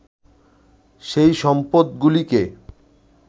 সেই সম্পদগুলিকে